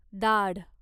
दाढ